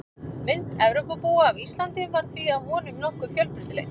Mynd Evrópubúa af Íslandi var því að vonum nokkuð fjölbreytileg.